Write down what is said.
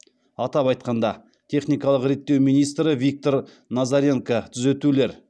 атап айтқанда техникалық реттеу министрі виктор назаренко түзетулер